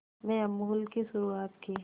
में अमूल की शुरुआत की